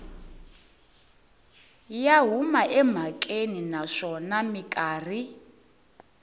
ya huma emhakeni naswona mikarhi